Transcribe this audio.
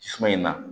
Suma in na